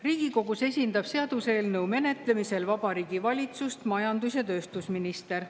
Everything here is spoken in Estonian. Riigikogus esindab seaduseelnõu menetlemisel Vabariigi Valitsust majandus‑ ja tööstusminister.